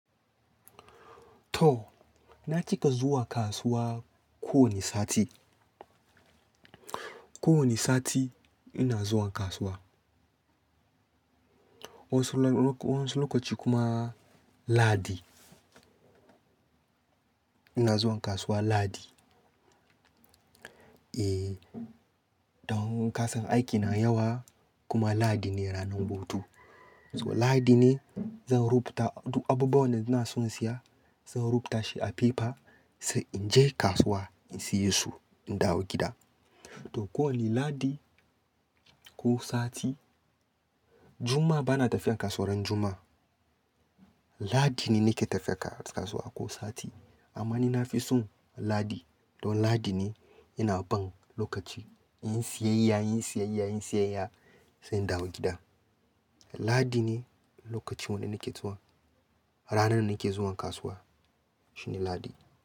To, na cika zuwa kasuwa ko wane sati. Ko wane sati ina zuwa kasuwa. Wa'ansu lokaci kuma Lahadi. Ina zuwa kasuwa Lahadi. E, don kasan aikina yawa kuma Lahadi ne ranan hutu. So Lahadi ne zan rubuta duk abubuwan da ina son siya zan rubuta shi a pepa sai in je kasuwa in siye su in dawo gida. To ko wane Lahadi ko sati. Juma'a bana tafiya kasuwa ran Juma'a. Lahadi ne nake tafiya kasuwa ko sati amma ni na fi son Lahadi. Don Lahadi ne ina bin lokaci in siyayya, in siyayya, in siyayya sai in dawo gida. Lahadi ne lokacin wanda nake zuwa, ranar da nake zuwa kasuwa shine Lahadi.